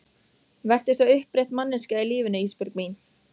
Vertu svo upprétt manneskja í lífinu Ísbjörg mín.